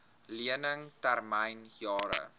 lening termyn jare